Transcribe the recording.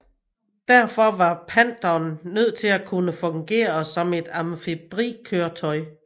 Derfor var Pantheren nødt til at kunne fungere som et amfibiekøretøj